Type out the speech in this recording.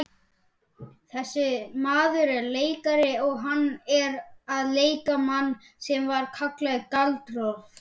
Þessi maður er leikari og hann er að leika mann sem var kallaður Galdra-Loftur.